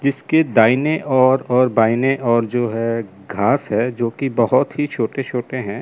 जिसके दाईने और और बाइने और जो है घास है जो की बहोत ही छोटे छोटे हैं।